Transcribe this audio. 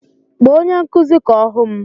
Kpọọ onye nkụzi ka ọ hụ m!